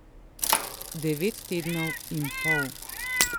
Devet tednov in pol ...